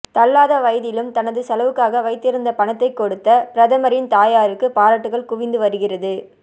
தள்ளாத வயதிலும் தனது செலவுக்காக வைத்திருந்த பணத்தை கொடுத்த பிரதமரின் தாயாருக்கு பாராட்டுக்கள் குவிந்து வருகிறது